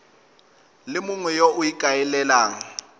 le mongwe yo o ikaelelang